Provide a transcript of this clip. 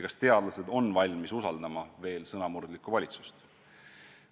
Kas teadlased on valmis veel usaldama sõnamurdlikku valitsust